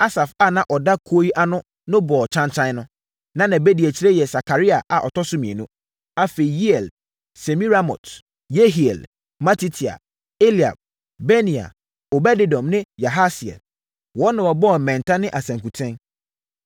Asaf a na ɔda kuo yi ano no bɔɔ kyankyan no. Na nʼabadiakyirefoɔ yɛ Sakaria a ɔtɔ so mmienu, afei, Yeiel, Semiramot, Yehiel, Matitia, Eliab, Benaia, Obed-Edom ne Yahasiel. Wɔn na wɔbɔɔ mmɛnta ne asankuten.